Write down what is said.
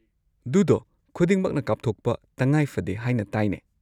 ꯗꯨꯗꯣ ꯈꯨꯗꯤꯡꯃꯛꯅ ꯀꯥꯞꯊꯣꯛꯄ ꯇꯉꯥꯏꯐꯗꯦ ꯍꯥꯏꯅ ꯇꯥꯏꯅꯦ꯫